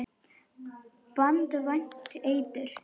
Banvænt eitur.